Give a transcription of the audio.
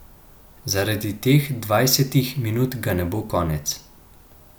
Zaradi teh dvajsetih minut ga ne bo konec.